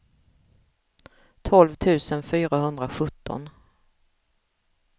tolv tusen fyrahundrasjutton